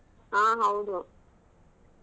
ಆಹ್ ಹೌದು.